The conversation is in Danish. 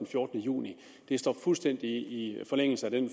fjortende juni det står fuldstændig i forlængelse af det